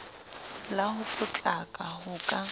la ho potlaka ho ka